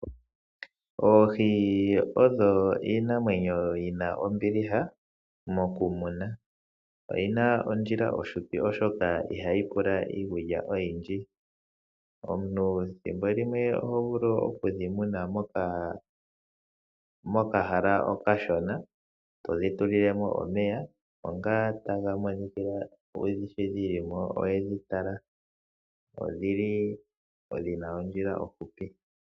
Oohi adho iinamwenyo yina ombiliha moku mona oyina ondjila ofupi oshoka ihayi pula iikulya oyindji omuntu ethimbo limwe oho vulu okuyi muna mokahala okashona todhi tulilelemo omeya oohi odhina ondjila ofupi.